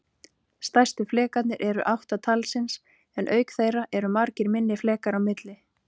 Stærstu flekarnir eru átta talsins, en auk þeirra eru margir minni flekar á milli.